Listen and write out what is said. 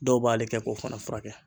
Dɔw b'ale kɛ k'o fana furakɛ.